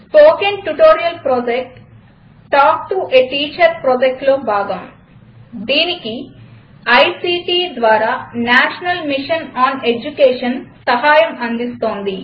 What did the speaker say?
spoken tutorial project talk to a teacher ప్రాజక్ట్లో భాగం దీనికి ఐసీటీ ద్వారా నేషనల్ మిషన్ ఆన్ ఎడ్యుకేషన్ సహాయం అందిస్తోంది